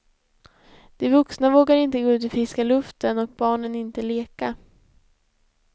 De vuxna vågar inte gå ut i friska luften och barnen inte leka.